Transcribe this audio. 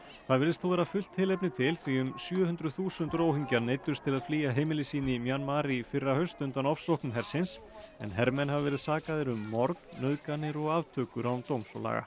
það virðist þó vera fullt tilefni til því um sjö hundruð þúsund Róhingjar neyddust til að flýja heimili sín í Mjanmar í fyrrahaust undan ofsóknum hersins en hermenn hafa verið sakaðir um morð nauðganir og aftökur án dóms og laga